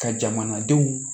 Ka jamanadenw